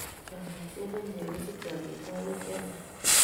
Chopisiet nemie kosichei amitwogik chemiach